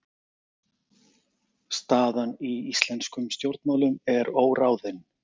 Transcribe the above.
Staðan í íslenskum stjórnmálum er óráðin